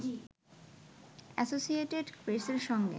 associated প্রেসের সঙ্গে